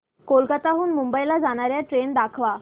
कोलकाता हून मुंबई ला जाणार्या ट्रेन दाखवा